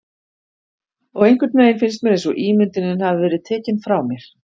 Og einhvernveginn finnst mér einsog ímyndunin hafi verið tekin frá mér.